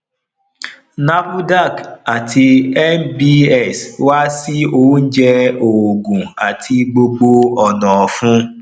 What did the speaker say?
nafdac àti nbs wà sí oúnjẹ oògùn àti gbogbo ònà ofun